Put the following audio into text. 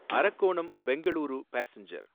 Arakkonam Bengaluru passenger